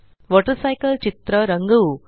water cycle चित्र रंगवू